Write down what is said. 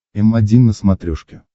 м один на смотрешке